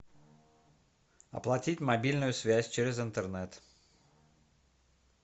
оплатить мобильную связь через интернет